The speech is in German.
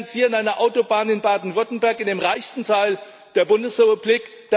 Sie finanzieren eine Autobahn in Baden Württemberg, dem reichsten Teil der Bundesrepublik.